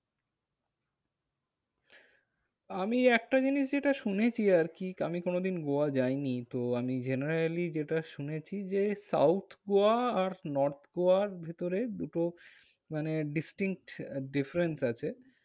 আমি একটা জিনিস যেটা শুনেছি আরকি, আমি কোনো দিন গোয়া যাইনি। তো আমি generally যেটা শুনেছি যে, south গোয়া আর north গোয়ার ভেতরে দুটো মানে distinct difference আছে।